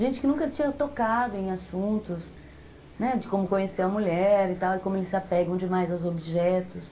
Gente que nunca tinha tocado em assuntos, né, de como conhecer a mulher e tal e como eles se apegam demais aos objetos.